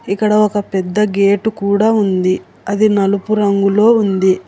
ఇక్కడ ఒక పెద్ద గేటు కూడా ఉంది అది నలుపు రంగులో ఉంది.